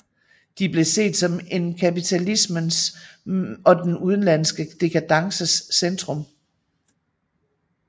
De blev set som en kapitalismens og den udenlandske dekadences centrum